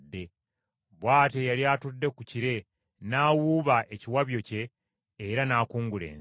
Bw’atyo eyali atudde ku kire n’awuuba ekiwabyo kye era n’akungula ensi.